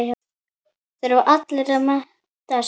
Þurfa allir að mennta sig?